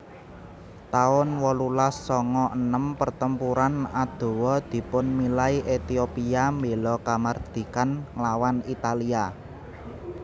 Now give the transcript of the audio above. taun wolulas sanga enem Pertempuran Adowa dipunmilai Ethiopia mbéla kamardikan nglawan Italia